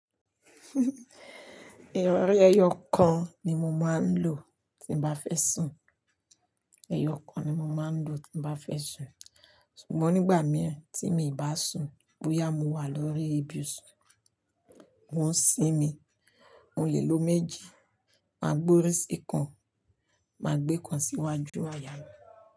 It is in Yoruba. Irọrí ẹyọ kan ni mo máa ń lò tí mo bá fẹ́ sùn. Ẹyọ kan ni mo máa ń lò tí bá fẹ́ sùn. Ṣùgbọ́n nígbà mìíràn tí mi ò bá sùn bóyá mo wà lórí ibusun, mo ń sín mi. Mo lè lo méjì. Máa gbé orí sí kan, màá gbé kan sí iwájú àyà mi.